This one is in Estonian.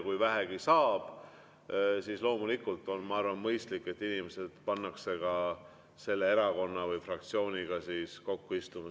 Kui vähegi saab, siis loomulikult on, ma arvan, mõistlik, et need inimesed pannakse istuma selle erakonna fraktsiooni juurde.